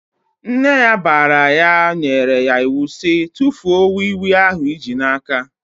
Nne ya bara ya nyere ya iwu sị "tụfuo wii wii ahụ i ji n'aka!"